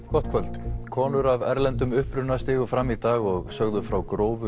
gott kvöld konur af erlendum uppruna stigu fram í dag og sögðu frá grófu